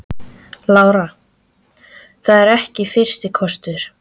Lára: Það er ekki fyrsti kostur?